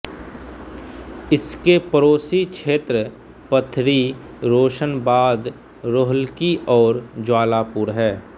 इसके पड़ोसी क्षेत्र पथरी रोशनबाद रोहल्की और ज्वालापुर है